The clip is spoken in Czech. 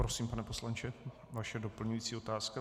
Prosím, pane poslanče, vaše doplňující otázka.